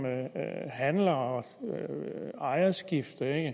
handler og ejerskifte er